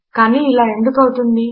కాని ఇలా ఎందుకు అవుతుంది